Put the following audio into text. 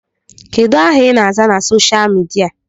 Kedụ aha I na-aza na soshal midia?